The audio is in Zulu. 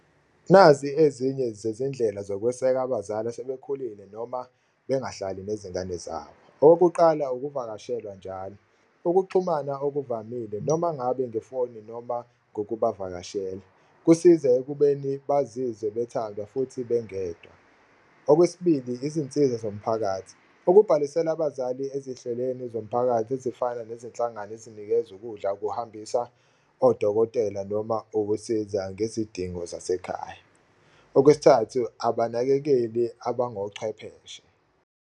Nazi ezinye zezindlela zokweseka abazali asebekhulile noma bengahlali nezingane zabo. Okokuqala, ukuvakashelwa njalo, ukuxhumana okuvamile noma ngabe ngefoni noma ngokubavakashela kusiza ekubeni bazizwe bethandwa futhi bengedwa. Okwesibili, izinsiza zomphakathi, ukubhalisela abazali ezihlelweni zomphakathi ezifana nezinhlangano ezinikeza ukudla, ukuhambisa odokotela noma ukusiza ngezidingo zasekhaya. Okwesithathu, abanakekeli abangochwepheshe.